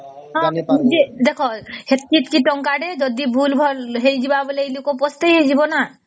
ହଁ ନିଜେ ଦେଖ ସେତକୀ ଟଙ୍କା ରେ ଯଦି ଭୁଲ ଭଲ ହେଇଯିବ ତ ଲୋକ ପସ୍ତେଇ ଯିବା ନ